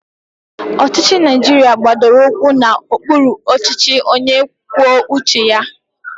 Ọchịchị Naijiria gbadoro ụkwụ na ụkpụrụ ọchịchị onye kwuo uche ya.